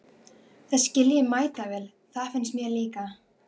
Það skil ég mætavel, því mér finnst það líka!